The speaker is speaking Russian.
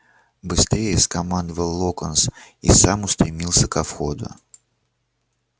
быстрее скомандовал локонс и сам устремился ко входу